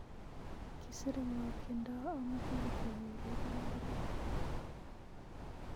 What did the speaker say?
kisire ng'o tiendo amoje kityo keureren ak inyee